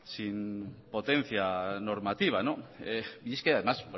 sin potencia normativa y es que además